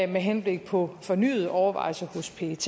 med henblik på fornyet overvejelse hos pet